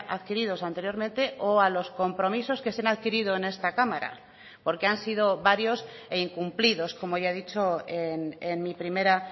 adquiridos anteriormente o a los compromisos que se han adquirido en esta cámara porque han sido varios e incumplidos como ya he dicho en mi primera